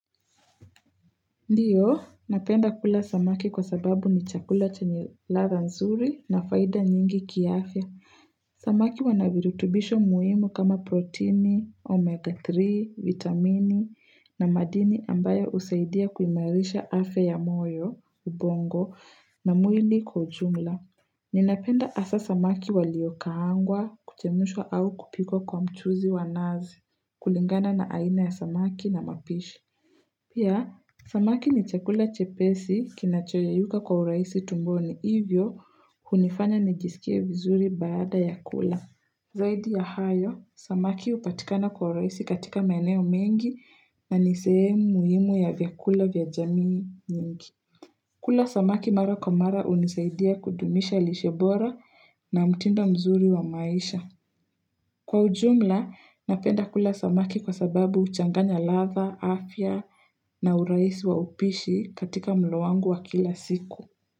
Ndiyo, napenda kula samaki kwa sababu ni chakula chenye ladha nzuri na faida nyingi kiafya. Samaki wanavirutubisho muhimu kama proteini, omega 3, vitamini na madini ambayo husaidia kuimarisha afya ya moyo, ubongo, na mwili kwa ujumla. Ninapenda hasa samaki waliokaangwa, kuchemushwa au kupikwa kwa mchuzi wa nazi, kulingana na aina ya samaki na mapishi. Pia, samaki ni chakula chepesi kinachoyeyuka kwa uraisi tumboni. Hivyo, hunifanya nijisikie vizuri baada ya kula. Zaidi ya hayo, samaki hupatikana kwa urahisi katika meneo mengi na ni sehemu muhimu ya vyakula vya jamii nyingi. Kula samaki mara kwa mara hunisaidia kudumisha lishe bora na mtindo mzuri wa maisha. Kwa ujumla, napenda kula samaki kwa sababu huchanganya ladha, afya na urahisi wa upishi katika mlo wangu wa kila siku.